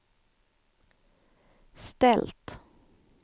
ställt